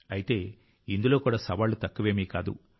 అయితే ఇందులో కూడా సవాళ్లు తక్కువేమీ కావు